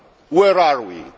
Where are we?